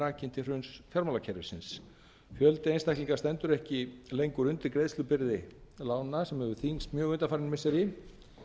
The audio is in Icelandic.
rakinn til hruns fjármálakerfisins fjöldi einstaklinga stendur ekki lengur undir greiðslubyrði lána sem hefur þyngst mjög undanfarin missiri